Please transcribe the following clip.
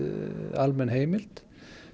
almenn heimild